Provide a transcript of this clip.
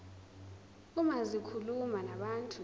uma zikhuluma nabantu